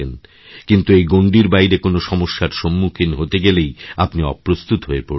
কিন্তু এই গণ্ডিরবাইরে কোনো সমস্যার সম্মুখীন হতে গেলেই আপনি অপ্রস্তুত হয়ে পড়ছেন